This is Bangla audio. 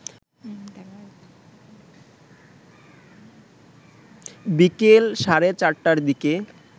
বিকেল সাড়ে ৪টার দিকে